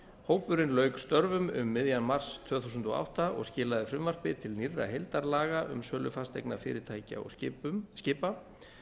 hópurinn lauk störfum um miðjan mars tvö þúsund og átta og skilaði frumvarpi til nýrra heildarlaga um sölu fasteigna fyrirtækja og skipa